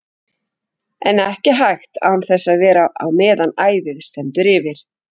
En ekki hægt án þess að vera á meðan æðið stendur yfir.